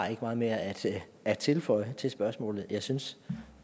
meget mere at at tilføje til spørgsmålet jeg synes